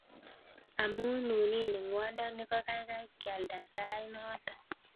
Amun nunin ingwondoni kokaikai kialda sait noton.